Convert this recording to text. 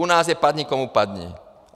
U nás je padni komu padni.